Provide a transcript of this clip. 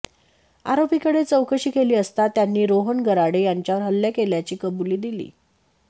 आरोपीकडे चौकशी केली असता त्यांनी रोहन गराडे याच्यावर हल्ला केल्याची कबुली दिली